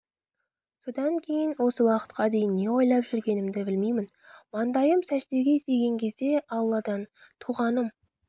содан кейін осы уақытқа дейін не ойлап жүргенімді білмеймін маңдайым сәждеге тиген кезде алладан туғаным